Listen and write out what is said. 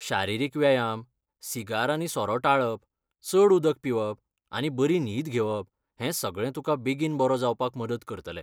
शारिरीक व्यायाम, सिगार आनी सोरो टाळप, चड उदक पिवप, आनी बरी न्हीद घेवप, हें सगळें तुकां बेगीन बरो जावपाक मदत करतलें.